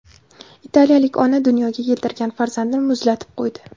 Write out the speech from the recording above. Italiyalik ona dunyoga keltirgan farzandini muzlatib qo‘ydi.